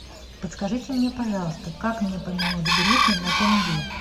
подскажите мне пожалуйста как мне поменять гривны на тенге